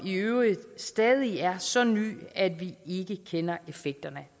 i øvrigt stadig er så ny at vi ikke kender effekterne